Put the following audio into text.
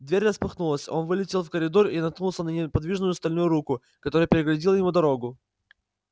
дверь распахнулась он вылетел в коридор и наткнулся на неподвижную стальную руку которая преградила ему дорогу